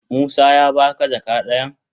Musa ya ba ka jaka dayan?